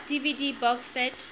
dvd box set